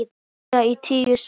Það dugði í tíu slagi.